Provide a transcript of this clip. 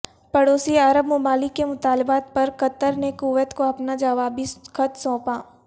پڑوسی عرب ممالک کے مطالبات پر قطر نے کویت کو اپنا جوابی خط سونپا